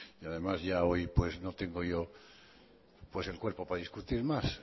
y además ya hoy pues no tengo yo pues el cuerpo para discutir más